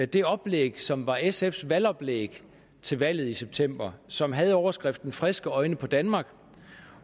det oplæg som var sfs valgoplæg til valget i september som havde overskriften friske øjne på danmark